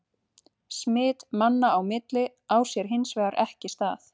Smit manna á milli á sér hins vegar ekki stað.